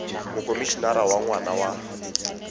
mokomi enara wa ngwana wa